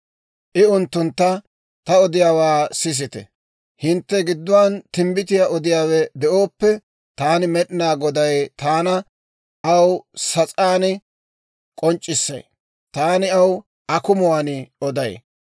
I unttuntta, «Ta odiyaawaa sisite: Hintte gidduwaan timbbitiyaa odiyaawe de'ooppe, taani Med'inaa Goday taana aw sas'aan k'onc'c'issay; taani aw akumuwaan oday.